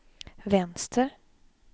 vänster